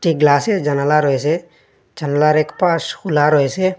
এ গ্লাসের জানালা রয়েসে জানলার একপাশ খুলা রয়েসে।